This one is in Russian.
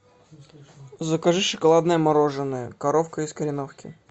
закажи шоколадное мороженое коровка из кореновки